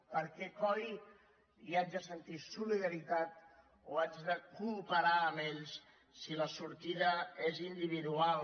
per què coi haig de sentir solidaritat o haig de cooperar amb ells si la sortida és individual